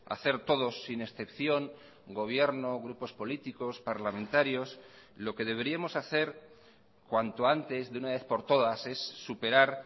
hacer todos sin excepción gobierno grupos políticos parlamentarios lo que deberíamos hacer cuanto antes de una vez por todas es superar